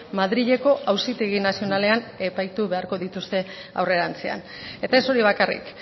madrileko auzitegi nazionalean epaitu beharko dituzte aurrerantzean eta ez hori bakarrik